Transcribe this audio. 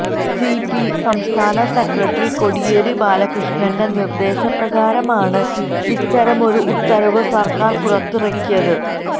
CPM സംസ്ഥാന secretary Kodiyeri ബാലകൃഷ്ണന്റെ നിര്ദ്ദേശ പ്രകാരമാണ് ഇത്തരമൊരു ഉത്തരവ് സര്ക്കാര് പുറത്തിറക്കിയത്